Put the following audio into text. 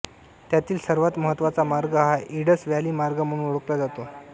त्यातील सर्वात महत्त्वाचा मार्ग हा इंडस व्हॅली मार्ग म्हणून ओळखला जातो